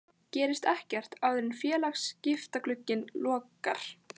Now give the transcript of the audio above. Gerist ekkert áður en félagaskiptaglugginn lokar?